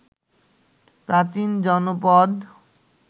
প্রাচীন জনপদ